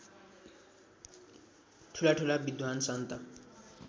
ठुलाठुला विद्वान् सन्त